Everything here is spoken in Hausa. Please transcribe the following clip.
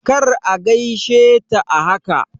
Kar a gaishe ta a haka!